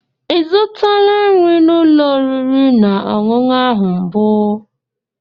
Ị zụtala nri n'ụlọ oriri na ọṅụṅụ ahụ mbụ?